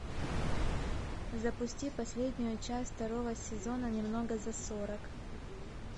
запусти последнюю часть второго сезона немного за сорок